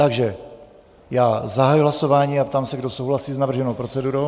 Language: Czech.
Takže já zahajuji hlasování a ptám se, kdo souhlasí s navrženou procedurou.